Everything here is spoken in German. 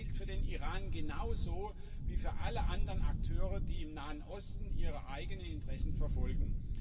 Dies gilt für den Iran genauso wie für alle anderen Akteure, die im Nahen Osten ihre eigenen Interessen verfolgen.